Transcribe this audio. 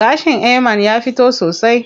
Gashin Ayman ya fito sosai.